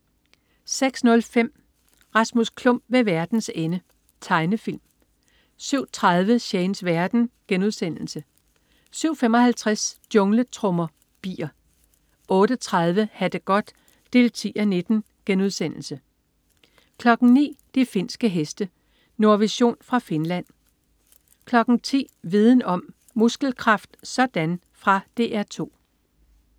06.05 Rasmus Klump ved verdens ende. Tegnefilm 07.30 Shanes verden* 07.55 Jungletrommer. Bier 08.30 Ha' det godt 10:19* 09.00 De finske heste. Nordvision fra Finland 10.00 Viden om: Muskelkraft sådan! Fra DR 2